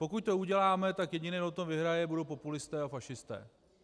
Pokud to uděláme, tak jediný, kdo to vyhraje, budou populisté a fašisté.